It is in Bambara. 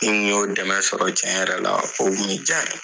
Ni n kun y'o dɛmɛ sɔrɔ tiɲɛ yɛrɛ la o kun bi ja ne ye.